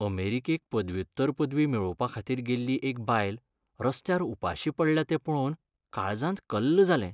अमेरीकेक पदव्युत्तर पदवी मेळोवपा खातीर गेल्ली एक बायल रस्त्यार उपाशी पडल्या तें पळोवन काळजांत कल्ल जालें.